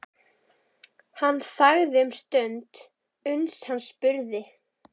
Hann þagði um stund uns hann spurði